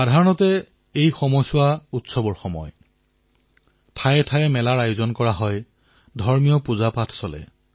সাধাৰণতে এই সময়ছোৱা উৎসৱৰ সময় হয় ঠায়ে ঠায়ে মেলা ধাৰ্মিক পুজা হয়